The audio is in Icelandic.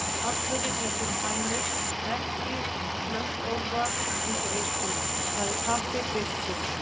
Pallurinn er fyrir hænur, ekki slöttólfa eins og ykkur, sagði pabbi byrstur.